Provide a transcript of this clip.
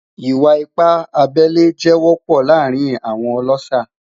Iwa-ipa abẹle jẹ wọpọ laarin awọn ọlọṣà